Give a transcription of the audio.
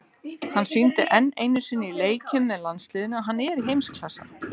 Hann sýndi enn einu sinni í leikjum með landsliðinu að hann er í heimsklassa.